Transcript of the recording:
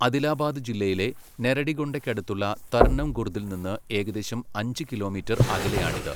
അദിലാബാദ് ജില്ലയിലെ നെറെഡിഗൊണ്ടയ്ക്കടുത്തുള്ള തർനം ഖുർദിൽ നിന്ന് ഏകദേശം അഞ്ച് കിലോമീറ്റർ അകലെയാണിത്.